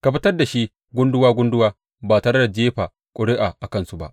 Ka fitar da shi gunduwa gunduwa ba tare da jefa ƙuri’a a kansu ba.